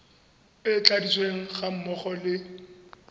e tladitsweng ga mmogo le